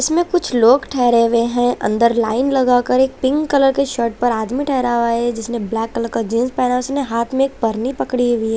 इसमें कुछ लोग ठहरे हुए हैं अंदर लाइन लगाकर एक पिंक कलर की शर्ट पर आदमी ठहरा हुआ हैं जिसने ब्लैक कलर का जीन्स पहना है उसने हाथ में परनी पकड़ी हुई--